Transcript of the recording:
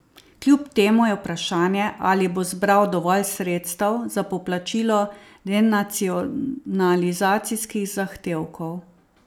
Kljub temu je vprašanje, ali bo zbral dovolj sredstev za poplačilo denacionalizacijskih zahtevkov.